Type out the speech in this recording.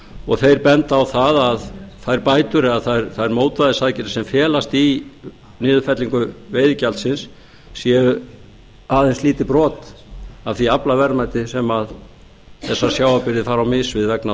og þeir benda á að þær bætur eða þær mótvægisaðgerðir sem felast í niðurfellingu veiðigjaldsins séu aðeins lítið brot af því aflaverðmæti sem þessar sjávarbyggðir fara á mis við vegna